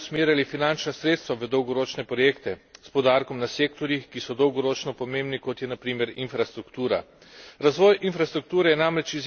Dobro je, da bomo s temi skladi usmerjali finančna sredstva v dolgoročne projekte s poudarkom na sektorjih, ki so dolgoročno pomembni, kot je na primer infrastruktura.